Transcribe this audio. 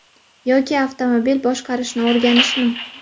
Yoki avtomobil boshqarishni o‘rganishmi?